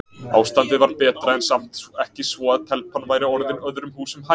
Ástandið var betra en samt ekki svo að telpan væri orðin öðrum húsum hæf.